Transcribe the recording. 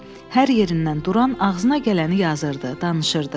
Hər yerindən duran ağzına gələni yazırdı, danışırdı.